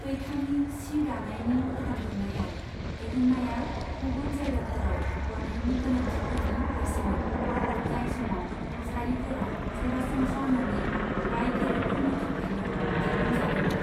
पैठानि सि दानायनि फोथांफिन्नायाव, दिहुन्नाया गुबुन जायगाफोराव हरनायनि गोनांथिफोरनि फारसेमोन, जाय समाव साड़िफोरा सरासनस्रा नङै बायगिरिफोरनि थाखायल' दिहुन जादोंमोन।